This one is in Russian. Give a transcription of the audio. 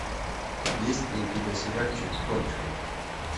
есть ли у тебя сериальчик торчвуд